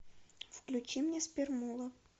включи мне спермула